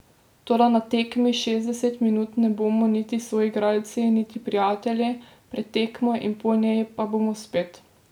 Toda na tekmi šestdeset minut ne bomo niti soigralci niti prijatelji, pred tekmo in po njej pa bomo spet.